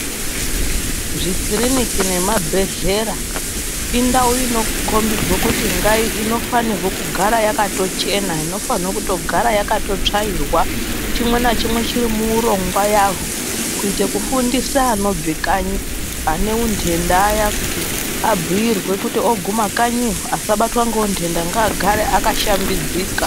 Zvikiriniki nemabhehlera indawu inokombidze kuti ngaive ,inofanirwaa kugara yakatochena, inofanira kugara yakatotsvairwa chimwe ngachimwe chiri muurongwa yazvo, kuitira kufundisa anobva kanyi anw unhenda ayani kuitira kuti abiirwe kutikanyiyo asabatwa ngeunhenda agare akashambika.